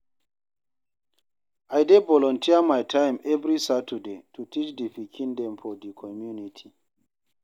I dey volunteer my time every Saturday to teach di pikin dem for di community.